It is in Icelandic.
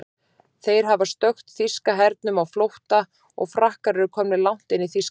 Þeir hafa stökkt þýska hernum á flótta og Frakkar eru komnir langt inn í Þýskaland.